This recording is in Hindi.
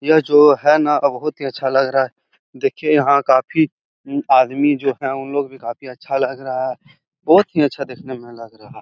ये जो है ना आ बहुत ही अच्छा लग रहा है। देखिये यहाँ काफी उम्म आदमी जो हैं उन लोग भी काफी अच्छा लग रहा है। बहुत ही अच्छा देखने में लग रहा --